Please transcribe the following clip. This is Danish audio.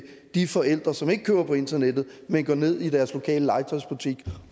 de forældre som ikke køber på internettet men går ned i deres lokale legetøjsbutik